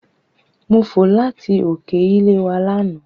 Mo fò láti òkè ilé wa lánàá.